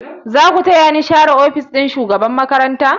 Za ku taya ni share ofis ɗin shugaban makaranta?